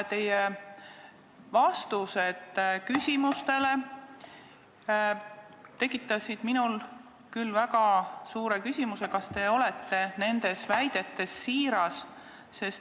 Teie vastused küsimustele tekitasid minul küll väga suure küsimuse, kas te olete nendes väidetes siiras.